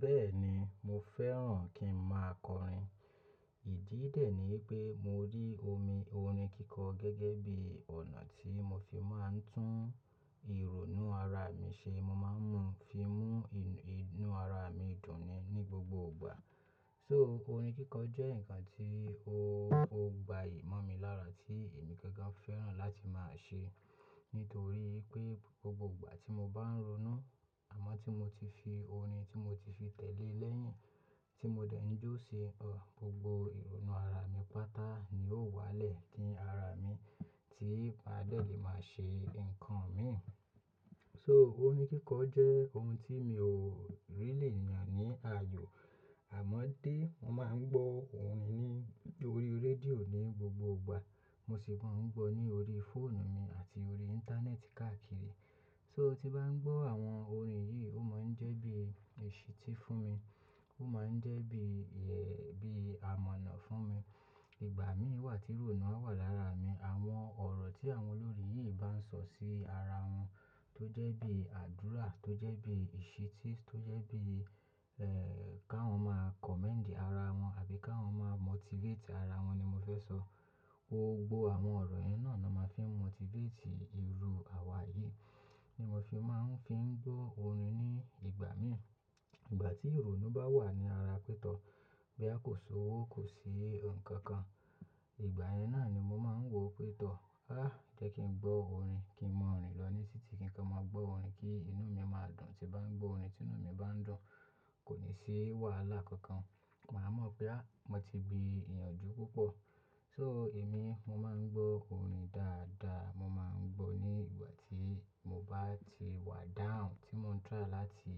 Bẹ́ẹ̀ni, mo fẹ́ràn kí ń máa kọrin. Ìdí dẹ̀ ni pé mo rí omi orin kíkọ gẹ́gẹ́ bí ọ̀nà tí mo fi máa ń tún ìrònú ara mi ṣe. Mo máa ń mú un fi mú inú ara mi dùn ni ní gbogbo ìgbà. So orin kíkọ jẹ́ nǹkan tí ó gbayì mọ́ mi lára tí èmi gangan fẹ́ràn láti máa ṣe. Nítorí pé gbogbo ìgbà tí mo bá ń ronú, àmọ́ tí mo ti fi orin tí mo ti fi tẹ̀lé lẹ́yìn, tí mo dẹ̀ ń jó sí, gbogbo ìrònú ara mi pátá ni ó wá lẹ̀ kín ara mi tí màá dẹ̀ lè máa ṣe nǹkan mi. So orín kíkọ jẹ́ ohun tí mi ò ríli yàn ní ààyò. Àmọ́ dé, mo máa ń gbọ́ orin ní orí rédíò ní gbogbo ìgbà. Mo sì máa ń gbọ́ ní orí fóònù mi àti orí Íńtánẹ́ẹ̀tì káàkiri. So tí bá ń gbọ́ àwọn orin yìí, ó máa ń jẹ́ bí èṣí tí fún mi. Ó máa ń jẹ́ bí, ẹ́, bí àmọ̀ná fún mi. Ìgbà mí wà tí ìrònú a wà lára mi. Àwọn ọ̀rọ̀ tí àwọn olórín yìí bá ń sọ sí ara wọn tó jẹ́ bí àdúrà, tó jẹ́ bí èṣí tí, tó jẹ́ bí, ẹ́ẹ́, káwọn máa commend ara wọn àbí káwọn máa motivate ara wọn ni mo fẹ́ sọ. Gbogbo àwọn ọ̀rọ̀ yẹn náà ni a máa fi motivate irú àwa yìí. Ni mo fi máa ń fi ń gbọ́ orin ní ìgbà mí. Ìgbà tí ìrònú bá wà ní ara pé tọ́, boya kò ṣòwò, kò sí nǹkan kan. Ìgbà yẹn náà ni mo máa ń wò pé tọ́, "Áà jẹ́ kí n gbọ́ orin, kí n mọ rin lọ ní títì, kí n tó máa gbọ́ orin kí inú mi a máa dùn." Tí n bá ń gbọ́ orin, tí inú mi bá ń dùn, kò ní sí wàhálà kankan. Màá mọ̀ pé á, mo ti gbin ìyànjú púpọ̀. So èmi, mo máa ń gbọ́ orin dáadáa. Mo máa ń gbọ́ ní ìgbà tí mo bá ti wà down, tí mò ń try láti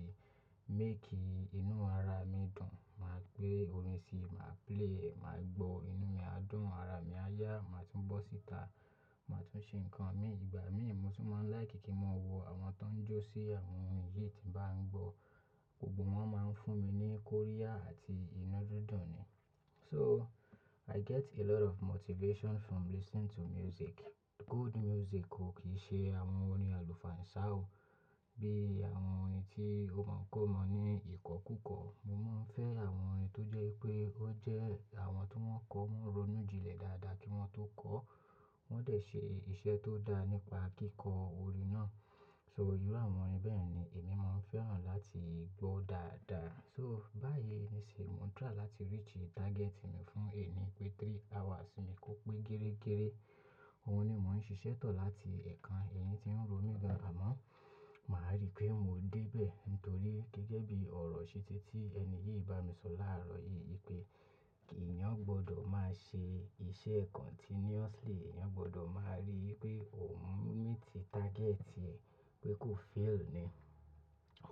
make inú ara mi dùn. Màá gbé orin sí, màá play, màá gbọ́, inú mi á dùn, ara mi á yá, màá tún bọ́ síta, màá tún ṣe nǹkan mi. Ìgbà mí, mo tún máa ń laiki kí n máa wo àwọn tó ń jó sí àwọn orin yìí tí mò ń gbọ́. Gbogbo wọn máa ń fún mi ní kóríà àti inú dúdùn ni. So I get a lot of motivation from listening to music. Good music ko, kì í ṣe àwọn orin àlùfáà ìsà o. Bí i àwọn orin tí ó máa ń k'ọ́mọ ní ìkọ́kúkọ. Mo máa ń fẹ́ àwọn orin tó jẹ́ pé ó jẹ́ àwọn tí wọ́n kọ́, wọ́n ronú ji lẹ̀ dáadáa kí wọ́n tó kọ. Wọ́n dẹ̀ ṣe iṣẹ́ tó dá nípa kíkọ orin náà. So irú àwọn orin bẹ́ẹ̀ ni èmi mo fẹ́ràn láti gbọ́ dáadáa. So báyìí nísìn, mò ń try láti reach target mi fún ẹni pé three hours mi kò pé gẹ́rẹ́gẹ́. Ohun ni mò ń ṣiṣẹ́ tọ̀ láti ẹ̀ẹ̀kan, èyín tí ń ro mi gan. Àmọ́, màá rí pé mò dé bẹ̀ nítorí gẹ́gẹ́ bí ọ̀rọ̀ ṣí tí tí ẹni yìí bá mi sọ láàárọ̀ yìí pé kí èèyàn gbọdọ̀ máa ṣe iṣẹ́ continuously, èèyàn gbọdọ̀ máa rí pé òun meet target e, pé kò fail ni.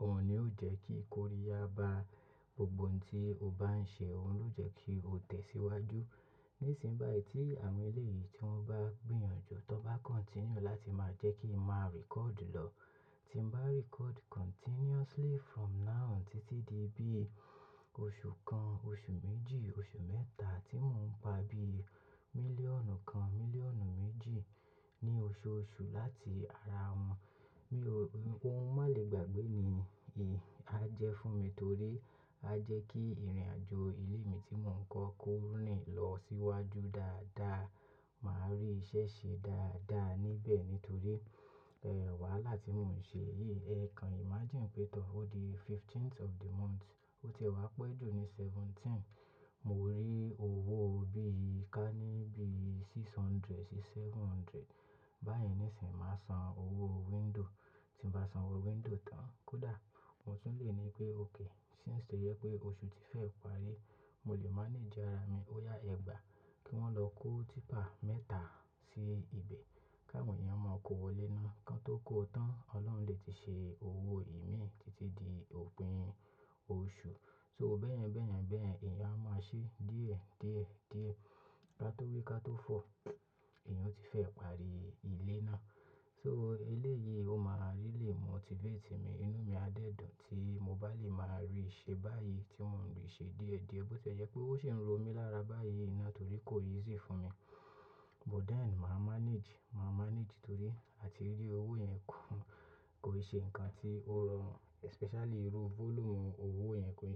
Òun ni ó jẹ́ kí kóríà bá gbogbo ohun tí o bá ń ṣe, òun ló jẹ́ kí o tẹ̀síwájú. Nísìnyí báyìí tí àwọn ilé yìí tí wọ́n bá gbìyànjú, tí wọ́n bá continue láti máa jẹ́ kí n máa record lọ, tí ń bá record continuously from now títí di bí i oṣù kan, oṣù méjì, oṣù mẹ́ta tí mò ń pa bíi mílíọ̀nù kan, mílíọ̀nù méjì ní oṣooṣù láti ara wọn, mi ò, ohun má lè gbàgbé ni, í, a jẹ́ fún mi torí a jẹ́ kí ìrìnàjò ilé mi tí mò ń kọ́ rin lọ síwájú dáadáa. Màá rí iṣẹ́ ṣe dáadáa níbẹ̀ nítorí, ẹ́ẹ́, wàhálà tí mò ń ṣe yìí, ẹ̀ẹ̀kan imagine pé tọ́, ó di fifteenth of the month, ó ti ẹ wá pẹ́ jù ni seventeenth. Mo rí owó bí i ká níbí six hundred sí seven hundred. Báyìí nísìnyí, màá san owó window. Tí ń bá san owó window tán kódà, mo tún lè ní pé okay, since ó jẹ pé oṣù ti fẹ́ parí, mo lè manage ara mi. Ó yá ẹgbàá kí wọ́n lọ kó típà mẹ́ta sí ibẹ̀, káwọn yẹn ó máa kó wọlé ná. Kan tó kó tán, Ọlọ́run lè ti ṣe owó ìmí títí di òpin oṣù. So bẹ́ẹ̀yẹn, bẹ́ẹ̀yẹn, bẹ́ẹ̀yẹn, ẹ̀yàn a máa ṣe díẹ̀, díẹ̀, díẹ̀. Káto wí káto fọ̀, èèyàn o ti fẹ́ parí ilé náà. So elé yìí ó máa ríli motivate mi, inú mi á dẹ̀ dùn tí mo bá lè máa rí i ṣe báyìí tí mò ń rí i ṣe díẹ̀díẹ̀ bí ó ti jẹ pé ó ṣe ń ro mi lára báyìí náà torí kò easy fún mi. But then màá manage, màá manage torí àti rí owó yẹn kò, kò ṣe nǹkan tí ó rọrùn, especially irú volume owó yẹn kò ṣe.